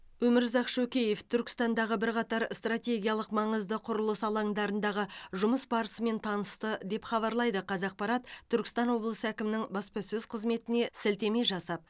өмірзақ шөкеев түркістандағы бірқатар стратегиялық маңызды құрылыс алаңдарындағы жұмыс барысымен танысты деп хабарлайды қазақпарат түркістан облысы әкімінің баспасөз қызметіне сілтеме жасап